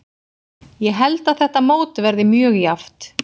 Ég held að þetta mót verði mjög jafnt.